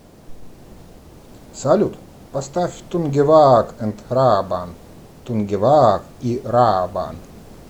салют поставь тунгевааг энд раабан тунгевааг и раабан